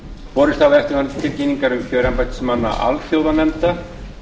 borist hafa eftirfarandi tilkynningar um kjör embættismanna alþjóðanefnda